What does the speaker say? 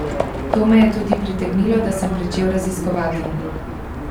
To me je tudi pritegnilo, da sem pričel raziskovati.